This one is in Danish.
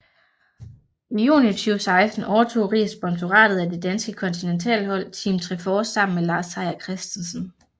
I juni 2016 overtog Riis sponsoratet af det danske kontinentalhold Team Trefor sammen med Lars Seier Christensen